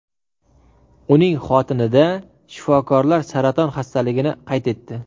Uning xotinida shifokorlar saraton xastaligini qayd etdi.